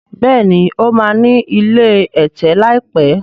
béèni o ma ní ilé ẹ̀tẹ̀ láìpé.